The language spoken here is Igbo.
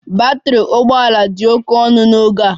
Batrị ụgbọ ala dị oke ọnụ n'oge a